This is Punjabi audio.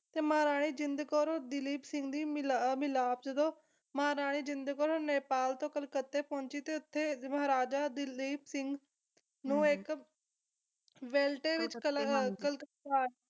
ਤੇ ਮਹਾਰਾਣੀ ਜਿੰਦ ਕੌਰ ਔਰ ਦਲੀਪ ਸਿੰਘ ਦੀ ਮਿਲਾ ਮਿਲਾਪ ਜਦੋਂ ਮਹਾਰਾਣੀ ਜਿੰਦ ਕੌਰ ਨੇਪਾਲ ਤੋਂ ਕਲਕੱਤਾ ਪਹੁੰਚੀ ਤੇ ਉੱਥੇ ਮਹਾਰਾਜਾ ਦਲੀਪ ਸਿੰਘ ਨੂੰ ਇੱਕ ਵੈਲਟੇ ਵਿਚ ਕਲਕੱਤਾ